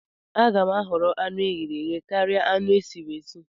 Aga m ahọrọ anụ eghere eghe karia anụ esiri esi